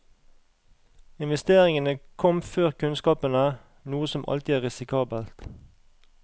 Investeringene kom før kunnskapene, noe som alltid er risikabelt.